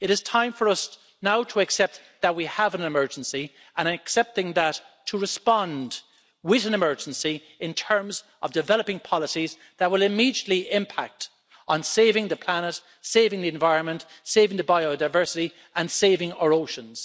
It is time for us now to accept that we have an emergency and accepting that to respond with an emergency in terms of developing policies that will immediately impact on saving the planet, saving the environment, saving the biodiversity and saving our oceans.